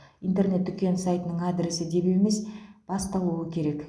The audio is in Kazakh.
интернет дүкен сайтының адресі деп емес басталуы керек